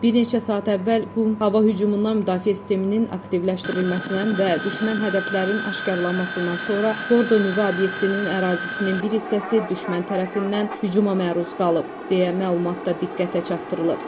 Bir neçə saat əvvəl Qum hava hücumundan müdafiə sisteminin aktivləşdirilməsindən və düşmən hədəflərinin aşkarlanmasından sonra Fordo nüvə obyektinin ərazisinin bir hissəsi düşmən tərəfindən hücuma məruz qalıb, deyə məlumatda diqqətə çatdırılıb.